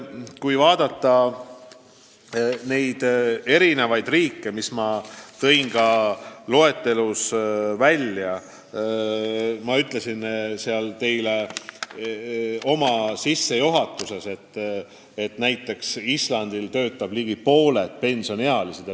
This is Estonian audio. Kui vaadata eri riike, siis ma ütlesin enne sissejuhatuses, et näiteks Islandil töötavad ligi pooled pensioniealised.